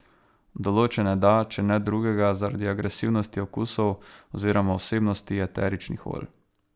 Določene da, če ne drugega, zaradi agresivnosti okusov oziroma vsebnosti eteričnih olj.